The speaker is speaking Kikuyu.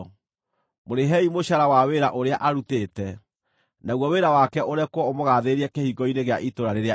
Mũrĩhei mũcaara wa wĩra ũrĩa arutĩte, naguo wĩra wake ũrekwo ũmũgaathĩrĩrie kĩhingo-inĩ gĩa itũũra rĩrĩa inene.